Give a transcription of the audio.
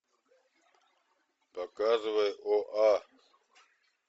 показывай оа